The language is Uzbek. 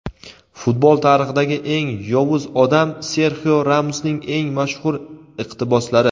Futbol tarixidagi eng "yovuz odam" — Serxio Ramosning eng mashhur iqtiboslari.